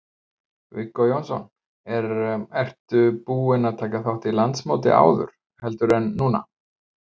Viggó Jónsson: Er, ertu búin að taka þátt í landsmóti áður, heldur en núna?